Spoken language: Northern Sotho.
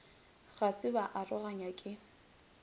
ga se ba aroganywa ke